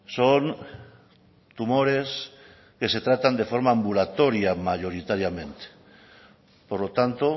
son tumores que se tratan de forma ambulatoria mayoritariamente por lo tanto